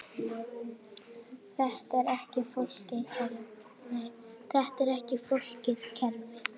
Þetta er ekki flókið kerfi.